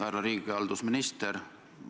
Härra riigihalduse minister!